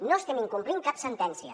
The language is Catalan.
no estem incomplint cap sentència